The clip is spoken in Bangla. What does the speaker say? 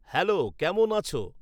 হ্যালো, কেমন আছো?